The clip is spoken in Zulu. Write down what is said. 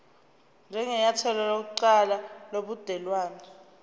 njengenyathelo lokuqala lobudelwane